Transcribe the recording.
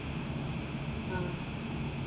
ആഹ്